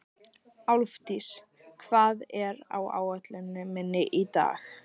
Álfdís, hvað er á áætluninni minni í dag?